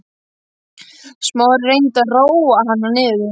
Smári reyndi að róa hana niður.